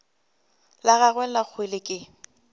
la gagwe la kgwele ke